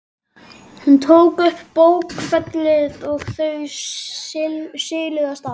Hún tók upp bókfellið og þau siluðust af stað.